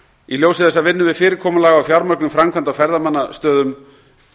í ljósi þess að vinnu við fyrirkomulag á fjármögnun framkvæmda á ferðamannastöðum